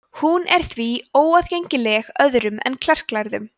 hún var því óaðgengileg öðrum en klerklærðum